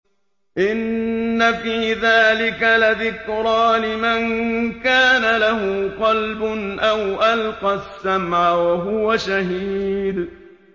إِنَّ فِي ذَٰلِكَ لَذِكْرَىٰ لِمَن كَانَ لَهُ قَلْبٌ أَوْ أَلْقَى السَّمْعَ وَهُوَ شَهِيدٌ